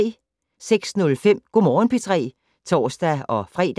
06:05: Go' Morgen P3 (tor-fre)